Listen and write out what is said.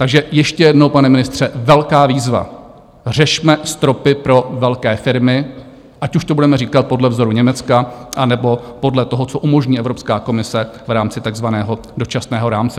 Takže ještě jednou, pane ministře, velká výzva: Řešme stropy pro velké firmy, ať už to budeme říkat podle vzoru Německa, anebo podle toho, co umožní Evropská komise v rámci takzvaného dočasného rámce.